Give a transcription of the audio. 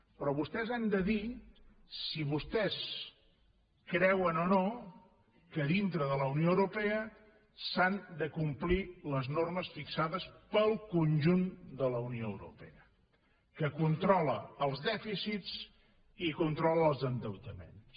però vostès han de dir si vostès creuen o no que dintre de la unió europea s’han de complir les normes fixades pel conjunt de la unió europea que controla els dè ficits i controla els endeutaments